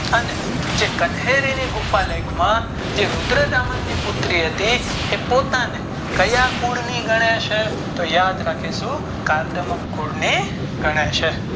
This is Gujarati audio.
અને જે કન્હેરી ની ગુફાલેખ માં જે રુદ્રતા મન ની પુત્રી હતી તે પોતાને ક્યાં કુળ ની ગણે છે તે યાદ રાખીશું કાર્દમક કુલ ની ગણે છે.